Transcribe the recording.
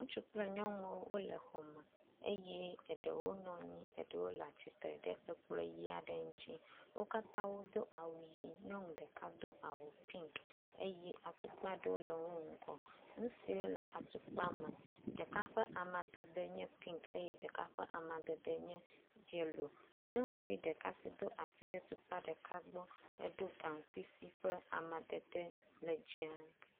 Ŋutsu kple nyɔnuwo wole xɔ me eye eɖewo nɔ anyi eɖewo le tsitre ɖe ekplɔ ʋi aɖe ŋuti. Wo katã wodo awu ʋi aɖe eye nyɔnu ɖeka do awu pink eye atukpa aɖewo le wo ŋgɔ. Nu siwo le atukpa me ɖeka ƒe amadede pink eye ɖeka ƒe amadede nye yellow. Nyɔnuvi ɖeka si do asi ɖe tukpa ɖeka gbɔ edo gaŋkui si ƒe amadede le dzɛ̃.